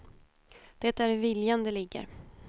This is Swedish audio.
Det är i viljan det ligger.